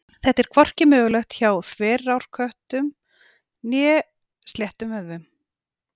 Þetta er hvorki mögulegt hjá þverrákóttum né sléttum vöðvum.